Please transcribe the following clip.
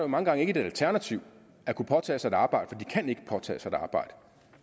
mange gange ikke et alternativ at kunne påtage sig at arbejde for de kan ikke påtage sig at arbejde